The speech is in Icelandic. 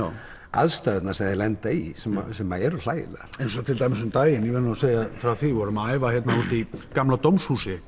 aðstæðurnar sem þeir lenda í sem sem eru hlægilegar eins og til dæmis um daginn ég verð nú að segja frá því þegar við vorum að æfa hérna úti í gamla dómshúsi